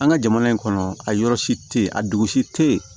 An ka jamana in kɔnɔ a yɔrɔ si tɛ ye a dugusi te yen